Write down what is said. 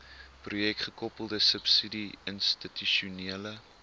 projekgekoppelde subsidie institusionele